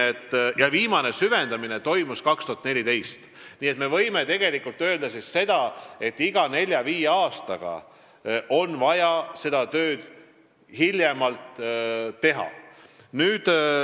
Viimane süvendamine toimus 2014. aastal ning me võime öelda, et hiljemalt iga nelja-viie aasta järel on vaja seda tööd teha.